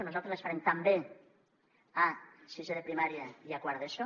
nosaltres les farem també a sisè de primària i a quart d’eso